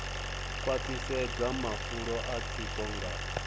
khwaṱhisedza mafulo a tsiko nga